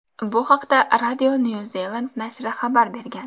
Bu haqda Radio New Zealand nashri xabar bergan .